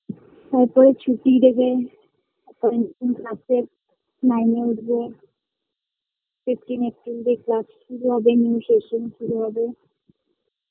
তারপরে ছুটি দেবে কারণ school class -এ nine -এ উঠবে fifteen April দিয়ে class শুরু হবে new session শুরু হবে